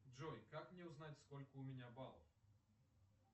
джой как мне узнать сколько у меня баллов